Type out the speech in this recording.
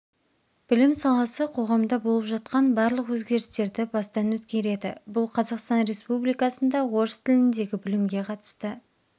білім саласы қоғамда болып жатқан барлық өгерістерді бастан өткереді бұл қазақстан республикасында орыс тіліндегі білімге қатысты